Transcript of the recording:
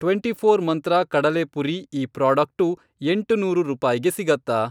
Twenty four Mantra ಕಡಲೆಪುರಿ ಈ product ಎಂಟುನೂರು ರೂಪಾಯ್ಗೆ ಸಿಗತ್ತಾ?